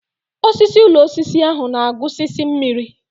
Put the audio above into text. Osisi ụlọ osisi ahụ na-agusisi mmiri.